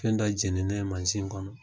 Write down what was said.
Fɛn dɔ jeninen ye manzin kɔnɔ.